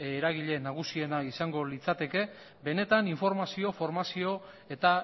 eragile nagusiena izango litzateke benetan informazio formazio eta